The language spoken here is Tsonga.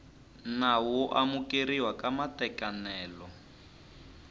nawu wo amukeriwa ka matekanelo